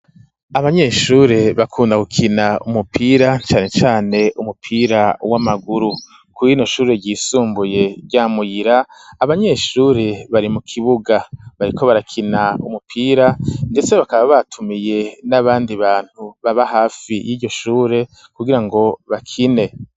Abanyeshure bakunda gukina umupira, cane cane umupira w'amaguru; kuri rino shure ryisumbuye rya Muyira, abanyeshure bari mu kibuga bariko barakina umupira, ndetse bakaba batumiye n'abandi bantu baba hafi y'iryo shure, kugira ngo bakine.